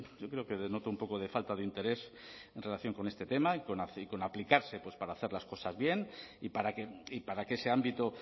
yo creo que denota un poco de falta de interés en relación con este tema y con aplicarse para hacer las cosas bien y para que ese ámbito